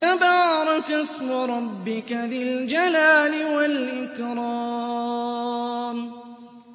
تَبَارَكَ اسْمُ رَبِّكَ ذِي الْجَلَالِ وَالْإِكْرَامِ